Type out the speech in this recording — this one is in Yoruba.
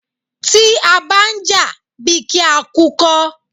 Tí a bá jà, bí kí á kú kọ́.